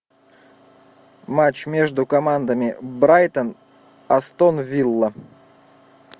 матч между командами брайтон астон вилла